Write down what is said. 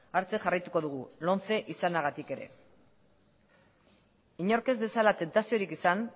hartzen jarraituko dugu lomce izanagatik ere inork ez dezala tentaziorik izan